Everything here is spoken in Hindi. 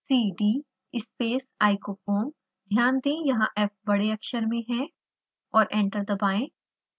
cdspace icofoamध्यान दें यहाँ f बड़े अक्षर में है और एंटर दबाएं